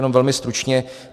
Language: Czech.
Jenom velmi stručně.